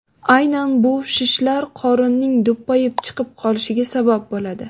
Aynan bu shishlar qorinning do‘ppayib chiqib qolishiga sabab bo‘ladi.